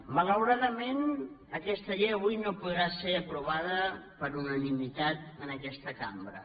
malauradament aquesta llei avui no podrà ser aprovada per unanimitat en aquesta cambra